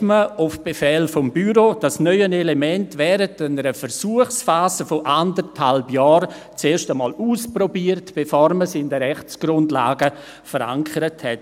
wurde auf Befehl des Büros hin das neue Element während einer Versuchsphase von anderthalb Jahren erst mal ausprobiert, bevor man es in den Rechtsgrundlagen verankerte.